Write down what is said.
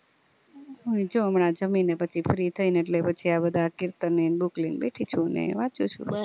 જો હમણાં જમીને પછી free થઇ ને એટલ પછી આ બધા કીર્તન ની book લઈને બેઠી ચુ ને વાચું છુ